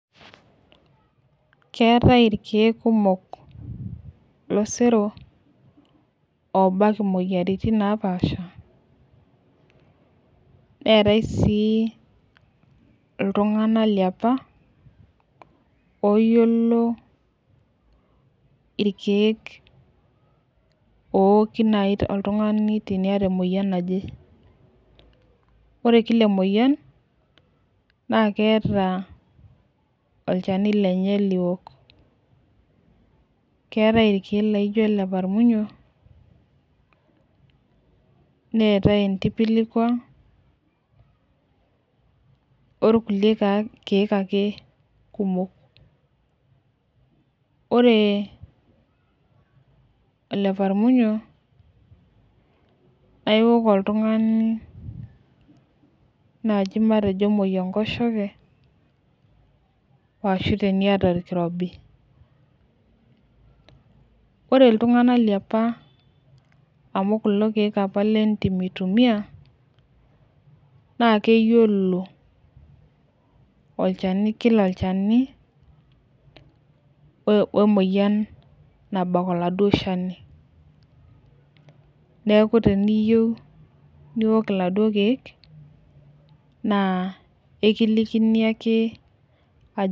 Keatae irkiek kumok losero oobak imoyiaritin napaasha, neatae sii iltungana liapa oyiolo irkiek ooki nai oltungani oota imoyian. Ore kila imoyian naa keata ilchani lenye liok, keatae irkiek laijo leparmunyo, neatae intipilkwa orkule irkiek ake kumok. Ore leparmunyo naa iwuok oltungani naaji matejo emoi enkosheke oo ashu tenieta olkirobi. Ore iltungana liapa amu kulo irkiek apa le intim eitumiya naa keyiolo, keyiolo olchani omoyian nabal iladuo ilchani, neaku teniyeu niwuok iladuo irkiek naa ikilikini ake ajo.